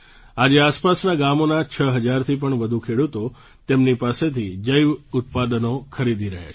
આજે આસપાસનાં ગામોના છ હજારથી પણ વધુ ખેડૂતો તેમની પાસેથી જૈવ ઉત્પાદનો ખરીદી રહ્યા છે